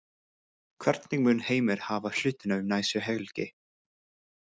Hvernig mun Heimir hafa hlutina um næstu helgi?